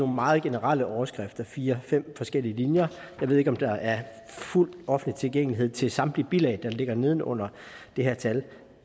meget generelle overskrifter fire fem forskellige linjer jeg ved ikke om der er fuld offentlig tilgængelighed til samtlige bilag der ligger neden under det her tal